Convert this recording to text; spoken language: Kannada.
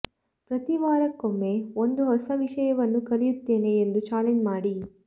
ಪ್ರತಿ ವಾರಕ್ಕೊಮ್ಮೆ ಒಂದು ಹೊಸ ವಿಷಯವನ್ನು ಕಲಿಯುತ್ತೇನೆ ಎಂದು ಚಾಲೆಂಜ್ ಮಾಡಿ